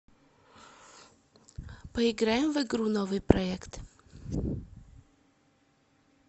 поиграем в игру новыйпроект